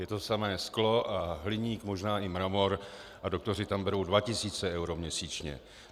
Je to samé sklo a hliník, možná i mramor a doktoři tam berou 2 tisíce eur měsíčně.